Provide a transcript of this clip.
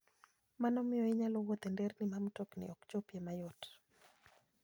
Mano miyo inyalo wuoth e nderni ma mtokni ok chopie mayot.